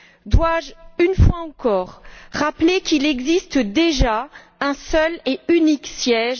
Dois je, une fois encore, rappeler qu'il existe déjà un seul et unique siège?